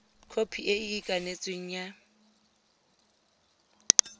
khopi e e ikanetsweng ya